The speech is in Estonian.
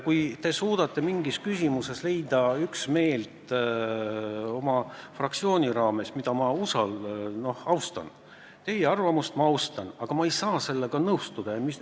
Kui te suudate mingis küsimuses leida üksmeele oma fraktsioonis, siis ma seda arvamust austan, aga ma ehk ei saa sellega nõustuda.